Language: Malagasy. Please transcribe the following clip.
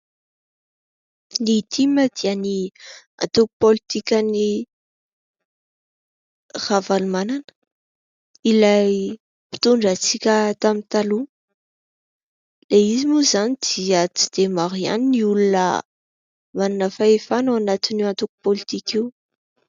Ny TIM dia ny antoko politika an'i Ravalomanana ; ilay mpitondra antsika tamin'ny taloha ; ilay izy moa izany dia tsy dia maro ihany ny olona manana fahefana ao anatin'io antoko politika io.